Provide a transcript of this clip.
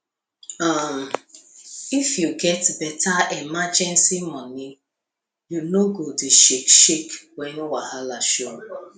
um if you get better emergency money you no go shake shake when wahala show